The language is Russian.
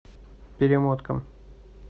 перемотка